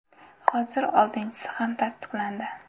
Hozir oltinchisi ham tasdiqlandi.